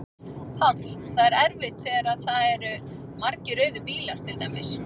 Páll: Það er erfitt þegar að það eru margir rauðir bílar til dæmis?